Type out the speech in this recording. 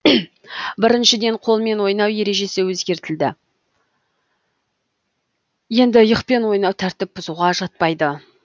біріншіден қолмен ойнау ережесі өзгертілді енді иықпен ойнау тәртіп бұзуға жатпайды